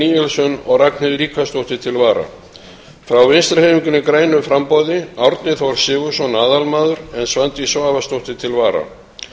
níelsson og ragnheiður ríkharðsdóttir til vara frá vinstri hreyfingunni grænu framboði árni þór sigurðsson aðalmaður en svandís svavarsdóttir til vara